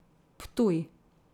Ptuj.